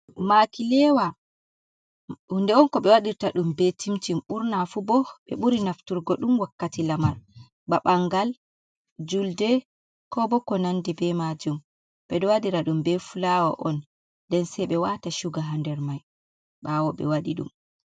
Makileewa hunde on, ko ɓe waɗirta ɗum be cimcin ɓurna fu bo. Ɓe ɓuri naftirgo ɗum wakkati lamar ba ɓanngal, julde ko bo ko nanndi be maajum .Ɓe ɗo waɗira ɗum be fulaawa on. Nden sey ɓe waata cuga haa nder may ɓaawo ɓe waɗi ɗum.